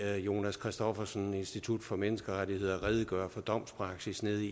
jonas christoffersen fra institut for menneskerettigheder redegøre for domspraksis nede